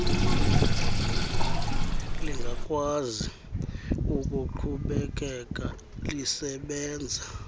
lingakwazi ukuqhubekeka lisebenza